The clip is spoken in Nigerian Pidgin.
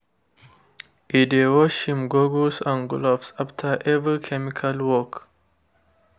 e dey wash im goggles and gloves after every chemical work.